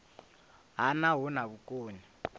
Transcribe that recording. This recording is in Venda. ha nha hu na vhukoni